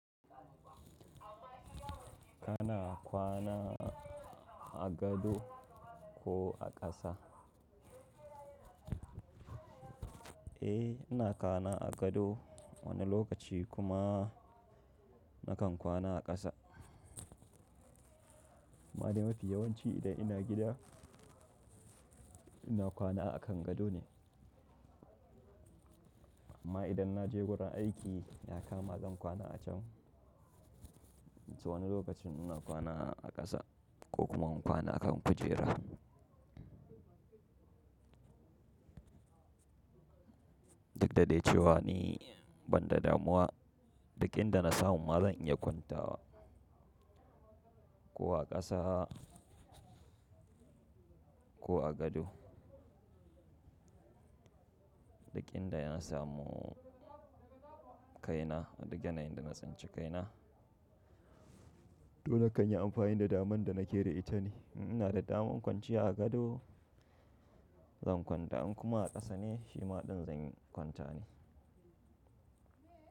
Kana kwana a gado ko a ƙasa? Eh, ina kwana a gado wani lokaci kuma nakan kwana a ƙasa. Amma mafi yawanci idan ina gida ina kwana a kan gado ne. Amma idan na je wurin aiki ya kama zan kwana a can. Wani lokacin ina kwana a ƙasa ko kuma in kwana a kan kujera. Dukdadai cewa ni ban da damuwa, duk inda na samu ma zan iya kwanta wa. Ko a ƙasa ko a gado. Duk inda na samu kaina, duk yanayin da na tsinci kaina. To na kan yi amfani da daman da na ke da ita ne. Ina da daman kwanciya a gado zan kwanta, in kuma a ƙasa ne shi ma zan yi kwanta ne.